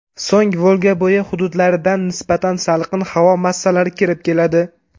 So‘ng Volgabo‘yi hududlaridan nisbatan salqin havo massalari kirib keladi.